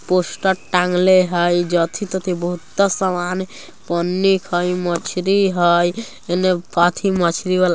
पोस्टर टांगले हैय जती तथि बहुता सामान पन्नीक हैय मछली हैय एने मछली वाला।